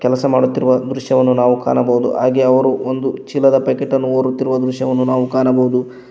ಕೆಲಸ ಮಾಡುತ್ತಿರುವ ದೃಶ್ಯವನ್ನು ನಾವು ಕಾಣಬಹುದು ಹಾಗೆ ಅವರು ಒಂದು ಚೀಲದ ಪ್ಯಾಕೆಟ್ ಅನ್ನು ಹೊರುತ್ತಿರುವ ದೃಶ್ಯವನ್ನು ನಾವು ಕಾಣಬಹುದು.